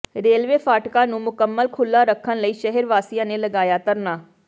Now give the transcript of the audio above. railway ਫਾਟਕਾ ਨੂੰ ਮੁਕੰਮਲ ਖੁੱਲ੍ਹਾ ਰੱਖਣ ਲਈ ਸ਼ਹਿਰ ਵਾਸੀਆਂ ਨੇ ਲਗਾਇਆ ਧਰਨਾ